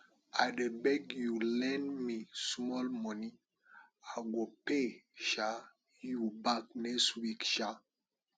i dey beg you lend me small money i go pay um you back next week um